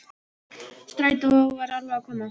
Strætó var alveg að koma.